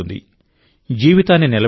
జీవితాన్ని నిలబెట్టగలదు